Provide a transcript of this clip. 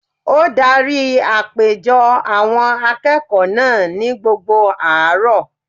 Ó darí àpéjọ àwọn akẹ́kọ̀ọ́ náà ní gbogbo àárọ̀